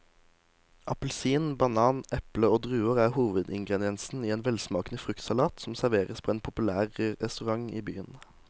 Appelsin, banan, eple og druer er hovedingredienser i en velsmakende fruktsalat som serveres på en populær restaurant i byen.